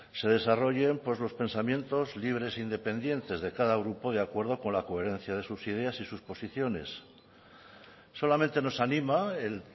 se desarrollen los pensamientos libres e independientes de cada grupo de acuerdo con la coherencia de sus ideas y de sus posiciones solamente nos anima el